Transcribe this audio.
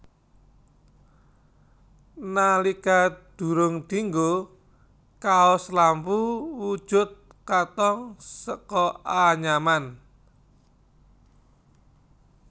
Nalika durung dinggo kaos lampu wujud katong saka anyaman